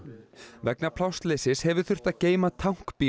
vegna plássleysis hefur þurft að geyma tankbíl